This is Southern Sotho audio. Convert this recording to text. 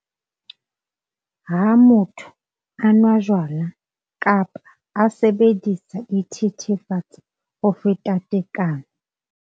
Ha motho a nwa jwala kapa a sebedisa dithethefatsi ho feta tekano.